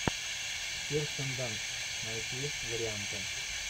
кирстен данст найти варианты